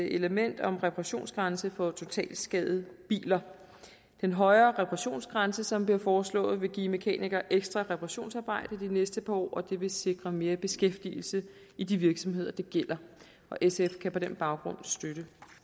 element om en reparationsgrænse for totalskadede biler den højere reparationsgrænse som bliver foreslået vil give mekanikere ekstra reparationsarbejde de næste par år og det vil sikre mere beskæftigelse i de virksomheder det gælder sf kan på den baggrund støtte